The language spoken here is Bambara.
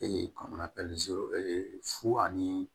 kɔnɔna fu ani